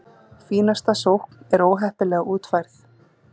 Fínasta sókn en óheppilega útfærð!